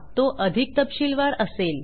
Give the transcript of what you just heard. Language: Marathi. तो अधिक तपशीलवार असेल